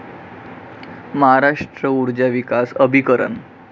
महाराष्ट्र ऊर्जा विकास अभिकरण